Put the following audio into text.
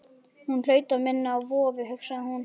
Hún hlaut að minna á vofu, hugsaði hún.